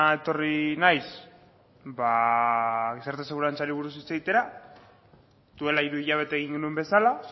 etorri naiz ba gizarte segurantzari buruz hitz egitera duela hiru hilabete egin genuen bezala